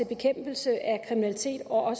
bekæmpelse af kriminalitet og